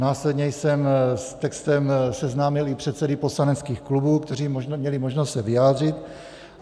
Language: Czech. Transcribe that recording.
Následně jsem s textem seznámil i předsedy poslaneckých klubů, kteří měli možnost se vyjádřit.